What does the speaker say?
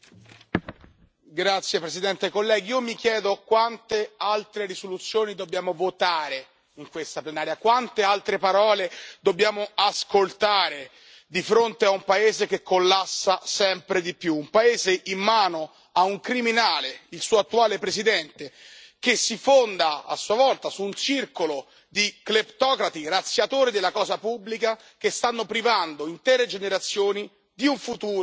Signora Presidente, onorevoli colleghi, mi chiedo quante altre risoluzioni dobbiamo votare in questa Plenaria, quante altre parole dobbiamo ascoltare di fronte a un paese che collassa sempre di più, un paese in mano a un criminale, il suo attuale Presidente, che si fonda a sua volta su un circolo di cleptocrati razziatori della cosa pubblica, che stanno privando intere generazioni di un futuro,